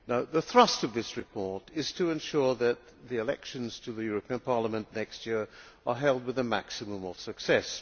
The thrust of this report is to ensure that the elections to the European Parliament next year are held with a maximum of success.